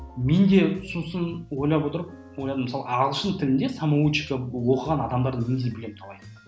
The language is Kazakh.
мен де сосын ойлап отырып ойладым мысалы ағылшын тілінде самоучка оқыған адамдарды менде білемін талайын